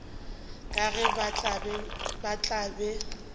ka ge ba tla be